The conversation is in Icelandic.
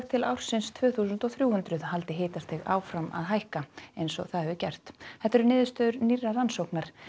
til ársins tvö þúsund og þrjú hundruð haldi hitastig áfram að hækka eins og það hefur gert þetta eru niðurstöður nýrrar rannsóknar